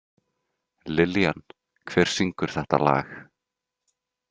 Lillian, hver syngur þetta lag?